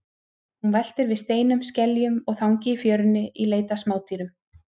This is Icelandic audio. Hún veltir við steinum, skeljum og þangi í fjörunni í leit að smádýrum.